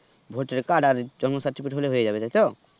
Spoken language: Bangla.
voter card আর জন্ম certificate হলে হয়েযাবে তাইতো?